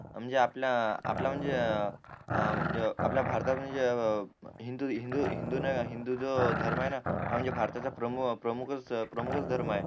म्हणजे आपला आपला म्हणजे अह आपल्या भारतात म्हणजे अह हिंदू हिंदू हिंदू ना हिंदू जो धर्म ये ना हा म्हणजे भारताचा प्रमुख प्रमुखच प्रमुखच धर्म आहे